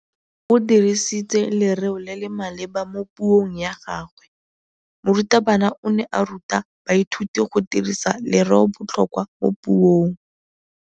O dirisitse lerêo le le maleba mo puông ya gagwe. Morutabana o ne a ruta baithuti go dirisa lêrêôbotlhôkwa mo puong.